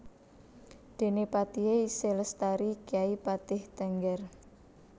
Déné patihé isih lestari kyai patih Tengger